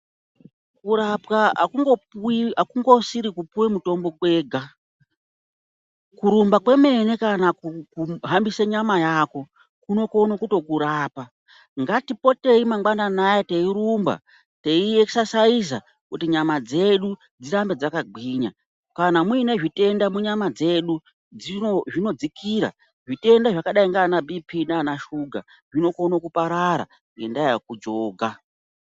Kurapwa hakungopuwi hakungosiri kupuwe mutombo kwega. Kurumba kwemene kana ku kuhambise nyama yako kunokono kutokurapa. Ngatipotei mangwanani aya teyirumba teyiexerciser kuti nyama dzedu dzirambe dzakagwinya. Kana mwuine zvitenda mwunyama dzedu dzino..zvinodzikira, zvitenda zvakadai nganaBp nanashuga zvinokono kuparara ngendaa yekujoga.